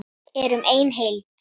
Erum ein heild!